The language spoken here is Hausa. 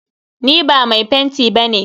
Ni ba mai fenti ba ne.